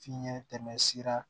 Fiɲɛ tɛmɛ sira